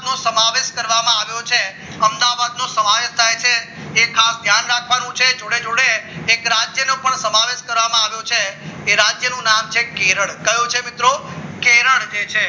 દુનિયાનો સમાવેશ આવ્યો છે અમદાવાદ નો સમાવેશ થાય છે એ ખાસ ધ્યાન રાખવાનું છે જોડે જોડે એક રાજ્યનો પણ સમાવેશ કરવામાં આવ્યો છે એ રાજ્યનું નામ છે કેરળ કયો છે મિત્રો કેરળ